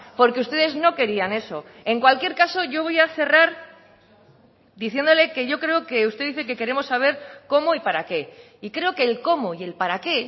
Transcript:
porque ustedes no querían eso en cualquier caso yo voy a cerrar diciéndole que yo creo que usted dice que queremos saber cómo y para qué y creo que el cómo y el para qué